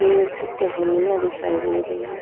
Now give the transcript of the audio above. पेड़ की टहनिया दिखाई दे रही हैं।